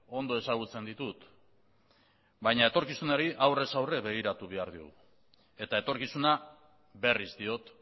ondo ezagutzen ditut baina etorkizunari aurrez aurre begiratu behar diogu eta etorkizuna berriz diot